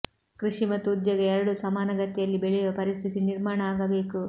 ಕೃಷಿ ಮತ್ತು ಉದ್ಯೋಗ ಎರಡೂ ಸಮಾನಗತಿಯಲ್ಲಿ ಬೆಳೆಯುವ ಪರಿಸ್ಥಿತಿ ನಿರ್ಮಾಣ ಆಗಬೇಕು